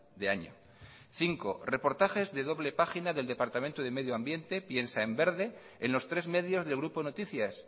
de año cinco reportajes de doble página del departamento de medio ambiente piensa en verde en los tres medios del grupo noticias